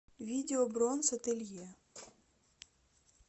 видео бронс ателье